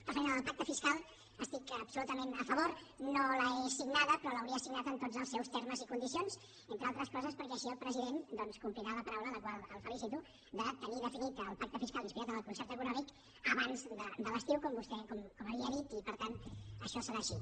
referent a la del pacte fiscal hi estic absolutament a favor no l’he signada però l’hauria signada en tots els seus termes i condicions entre altres coses perquè així el president doncs complirà la paraula per la qual el felicito de tenir definit el pacte fiscal inspirat en el concert econòmic abans de l’estiu com vostè havia dit i per tant això serà així